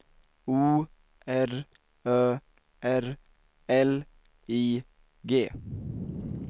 O R Ö R L I G